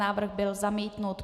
Návrh byl zamítnut.